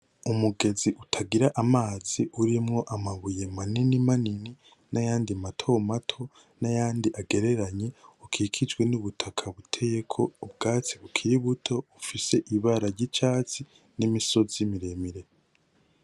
Umugenzi utagira amazi urimwo amabuye manini manini n'ayandi mato mato n'ayandi agereranye, ukikijwe n'ubutaka buteyeko ubwatsi bukiri buto, bufise ibara ry'icatsi n'imisozi miremire.